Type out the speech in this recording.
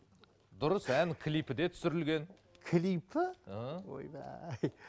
дұрыс ән клипі де түсірілген клипі ііі ойбай